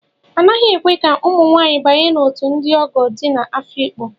A naghị ekwe ka ụmụ nwanyị banye n'òtù ndị ogo dị n'Afikpo.